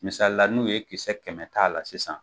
Misali la n'u ye kisɛ kɛmɛ t'a la sisan.